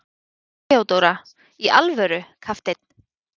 THEODÓRA: Í alvöru, kafteinn!